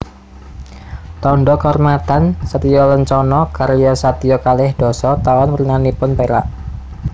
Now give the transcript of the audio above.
Tandha Kaurmatan satyalencana karya satya kalih dasa Taun wernanipun perak